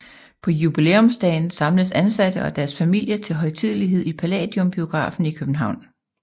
På jubilæumsdagen samles ansatte og deres familier til højtidelighed i Palladium Biografen i København